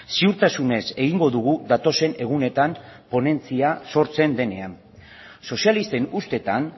ziurtasunez egingo dugu datozen egunetan ponentzia sortzen denean sozialisten ustetan